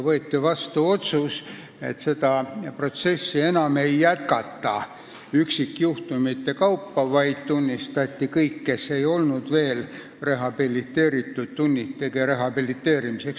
Võeti vastu otsus, et seda enam üksikjuhtumite kaupa ei jätkata, ning tunnistati kõik, kes ei olnud veel rehabiliteeritud, rehabiliteerituteks.